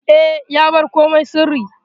E, ya bar komai sirri.